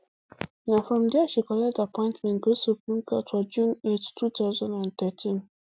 na from dia she collect appointment go supreme court for june eight two thousand and thirteen